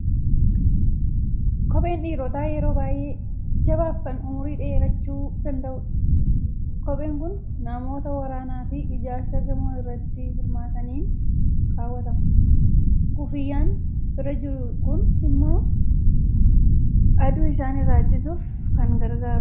Kopheen dhiirotaa yeroo baay'ee jabaa fi kan umurii dheerachuu danda'udha. Kopheen kun namoota waraanaa fi ijaarsa gamoo irratti hirmaataniin kaawwatama. Kuffiyyaan bira jiru kuni immoo aduu isaan irraa ittisuuf kan gargaarudha.